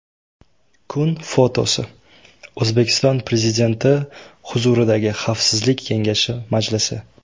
Kun fotosi: O‘zbekiston Prezidenti huzuridagi Xavfsizlik kengashi majlisi.